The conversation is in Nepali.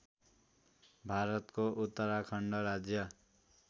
भारतको उत्तराखण्ड राज्य